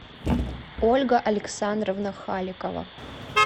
ольга александровна халикова